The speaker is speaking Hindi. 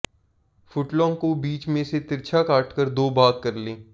फुट लॉन्ग को बीच में से तिरछा काटकर दो भाग कर लें